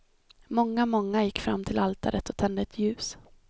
Många, många gick fram till altaret och tände ett ljus.